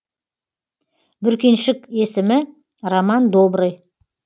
бүркеншік есімі роман добрый